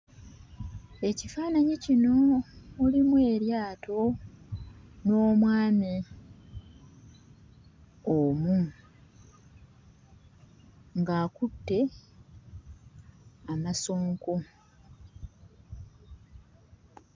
Ekifaananyi kino mulimu eryato n'omwami omu ng'akutte amasonko.